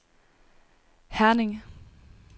Herning